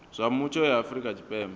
zwa mutsho ya afrika tshipembe